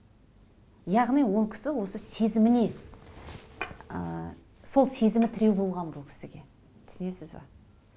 яғни ол кісі осы сезіміне ыыы сол сезімі тіреу болған бұл кісіге түсінесіз бе